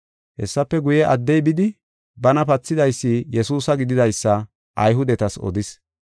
Hessafe guye, addey bidi bana pathidaysi Yesuusa gididaysa Ayhudetas odis.